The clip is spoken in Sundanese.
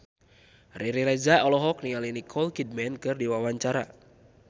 Riri Reza olohok ningali Nicole Kidman keur diwawancara